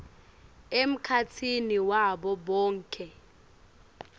emkhatsini wabo bonkhe